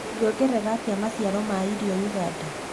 Tũngiongerera atĩa maciaro ma irio ũganda?